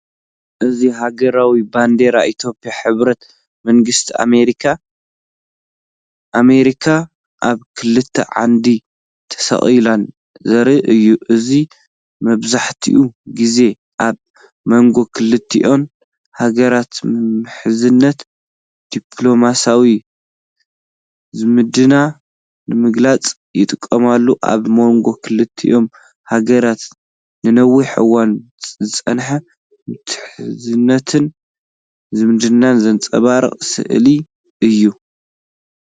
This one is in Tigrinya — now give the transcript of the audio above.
እዚ ሃገራዊ ባንዴራታት ኢትዮጵያን ሕቡራት መንግስታት ኣመሪካን (ኣሜሪካ) ኣብ ክልተ ዓንዲ ተሰቒለን ዘርኢ እዩ። እዚ መብዛሕትኡ ግዜ ኣብ መንጎ ክልቲአን ሃገራትዘሎ ምሕዝነት፣ ዲፕሎማስያዊ ዝምድና ንምግላጽ ይጥቀመሉ። ኣብ መንጎ ክልቲአንሃገራት ንነዊሕ እዋን ዝጸንሐ ምሕዝነትን ዝምድናን ዘንጸባርቕ ስእሊ እዩ።